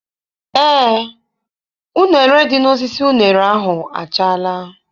Ee, uṅere dị n'osisi uṅere ahụ achaala.